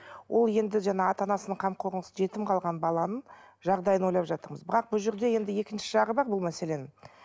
ол енді жаңа ата анасының қамқорынсыз жетім қалған баланың жағдайын ойлап жатырмыз бірақ бұл жерде енді екінші жағы бар бұл мәселенің